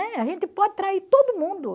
Né? A gente pode trair todo mundo.